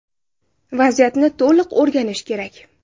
Vaziyatni to‘liq o‘rganish kerak.